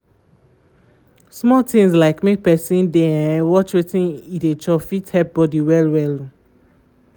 small things like make person dey um watch wetin e dey chop fit help body well um